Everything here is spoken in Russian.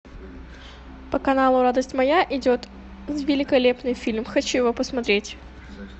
по каналу радость моя идет великолепный фильм хочу его посмотреть